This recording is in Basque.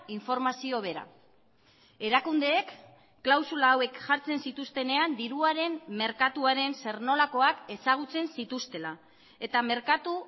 informazio bera erakundeek klausula hauek jartzen zituztenean diruaren merkatuaren zer nolakoak ezagutzen zituztela eta merkatu